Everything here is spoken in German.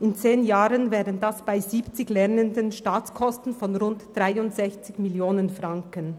In zehn Jahren wären dies bei 70 Lernenden Staatskosten von rund 63 Mio. Franken.